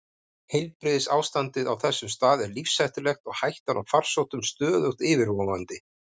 Heilbrigðisástandið á þessum stað er lífshættulegt og hættan á farsóttum stöðugt yfirvofandi.